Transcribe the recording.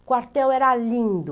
Quartel era lindo.